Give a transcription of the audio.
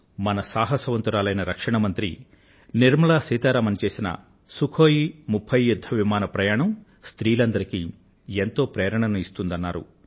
మన సాహసవంతురాలైన రక్షణ మంత్రి నిర్మల సీతారమణ్ చేసిన సుఖోయి 30 యుద్ధ విమాన ప్రయాణం తనకు ఎంతో ప్రేరణను ఇచ్చినట్లు ఆయన వ్రాశారు